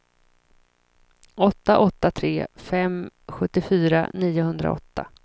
åtta åtta tre fem sjuttiofyra niohundraåtta